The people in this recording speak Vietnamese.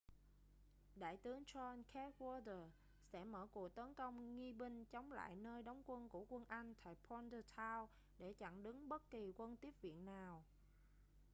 đại tướng john cadwalder sẽ mở cuộc tấn công nghi binh chống lại nơi đóng quân của quân anh tại bordentown để chặn đứng bất kỳ quân tiếp viện nào